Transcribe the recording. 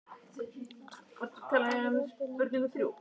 Arngils, hvað er opið lengi í Kjörbúðinni?